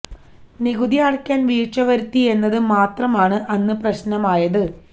നികുതി അടക്കാന് വീഴ്ച വരുത്തി എന്നത് മാത്രമാണ് അന്ന് പ്രശ്നമായത്